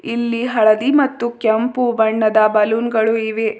ಇಲ್ಲಿ ಹಳದಿ ಮತ್ತು ಕೆಂಪು ಬಣ್ಣದ ಬಲೂನ್ ಗಳು ಇವೆ.